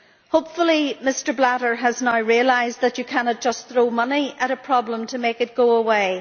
Hopefully Mr Blatter has now realised that you cannot just throw money at a problem to make it go away.